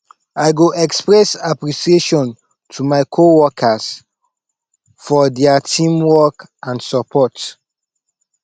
i go express appreciation to my coworkers for dia teamwork and support